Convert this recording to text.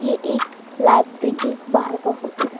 ये एक लाइब्रेरी के बाहर का फोटो है।